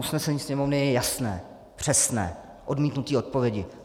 Usnesení Sněmovny je jasné, přesné - odmítnutí odpovědi.